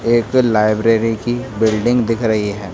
एक लाइब्रेरी की बिल्डिंग दिख रही है।